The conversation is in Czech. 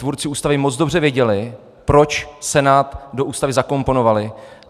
Tvůrci Ústavy moc dobře věděli, proč Senát do Ústavy zakomponovali.